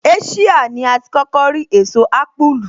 Asia ní a ti kókó rí èso ápùlù